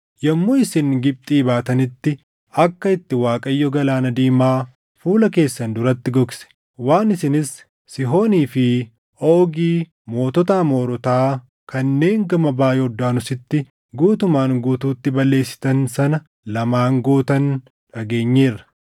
Yommuu isin Gibxii baatanitti akka itti Waaqayyo Galaana Diimaa fuula keessan duratti gogse, waan isinis Sihoonii fi Oogi mootota Amoorotaa kanneen gama baʼa Yordaanositti guutumaan guutuutti balleessitan sana lamaan gootan dhageenyeerra.